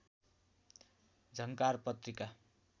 झङ्कार पत्रिका